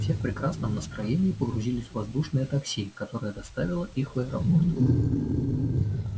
все в прекрасном настроении погрузились в воздушное такси которое доставило их в аэропорт